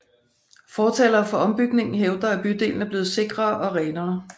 Fortalere for ombygningen hævder at bydelen er blevet sikrere og renere